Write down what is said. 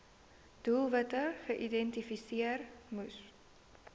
doelwitte geïdentifiseer moes